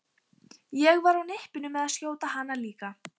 Ég var á nippinu með að skjóta hana líka.